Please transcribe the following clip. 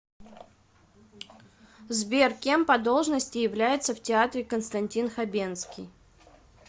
сбер кем по должности является в театре константин хабенскии